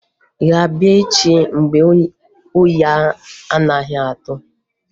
Ị ga-abịa echi mgbe oyi anaghị atụ?